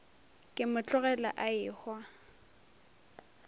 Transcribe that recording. ke mo tlogela a ehwa